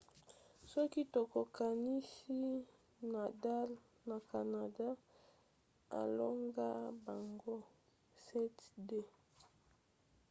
soki tokokanisi nadal na canada alonga bango 7–2